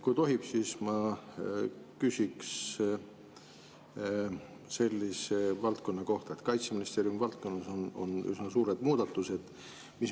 Kui tohib, siis ma küsin selle kohta, et Kaitseministeeriumi valdkonnas on üsna suured muudatused.